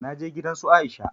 Na je gidan su Aisha